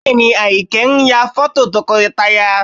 Bẹ́ẹ̀ ni, Àyìnkẹ́ ń ya fọ́tò tọkọtaya